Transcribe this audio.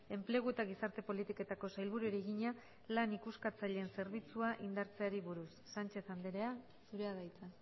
enplegu eta gizarte politiketako sailburuari egina lan ikuskatzaileen zerbitzua indartzeari buruz sánchez andrea zurea da hitza